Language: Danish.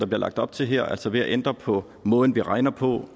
bliver lagt op til her altså ved at ændre på måden vi regner på